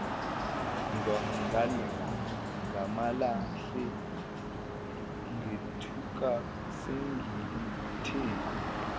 ngamalahle ngethuka sengilithe